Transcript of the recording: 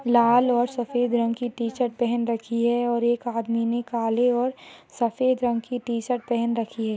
लाल और सफ़ेद रंग कि टी_शर्ट पहन रखी है और एक आदमी ने काले और सफ़ेद रंग कि टी_शर्ट पहन रखी है।